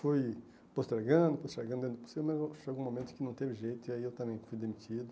Fui postergando, postergando, dentro do possível, mas chegou um momento que não teve jeito e aí eu também fui demitido.